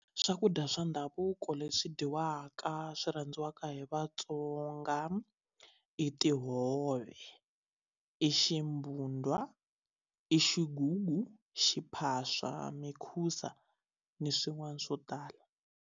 Swakudya swa ndhavuko leswi dyiwaka swi rhandziwaka hi vatsonga i tihove i ximbundwa i xigugu xiphaswa mikhusa ni swin'wana swo tala.